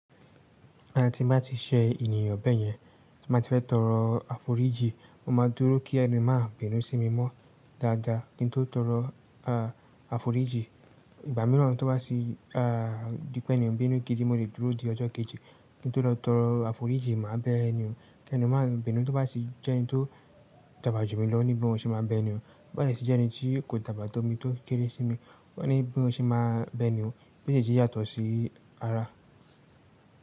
À, tí n bá ti ṣe ènìyàn bẹ́yẹn, tí mo bá ti fẹ́ tọrọ àforíjì, mo máa dúró kí ẹni máa bínú sí mi mọ́ dáadáa. Kí n tó tọrọ àforíjì, ìgbà mìíràn tó bá di pé ẹni ń bínú gidi mo lè dúró di ọjọ́ kejì kí n tó lọ tọrọ àforíjì má a bẹ ẹni hun. Ẹni un má a bínú tó bá ti jẹ́ ẹni tó dàgbà jù mí lọ o ní bí mo ṣe máa bẹ eni un. Bo ba sí ti jẹ́ ẹni tí kò dàgbà tó mi, tó kéré sí mi, ó máa ní bí mo ṣe máa ń bẹ enihun. Meejejí yàtọ̀ sí ara.